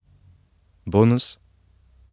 Bonus?